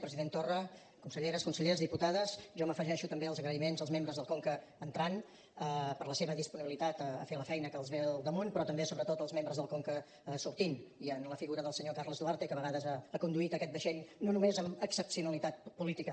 president torra conselleres consellers diputades jo m’afegeixo també als agraïments als membres del conca entrant per la seva disponibilitat a fer la feina que els ve al damunt però també sobretot als membres del conca sortint i en la figura del senyor carles duarte que a vegades ha conduït aquest vaixell no només amb excepcionalitat política